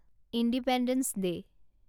independence day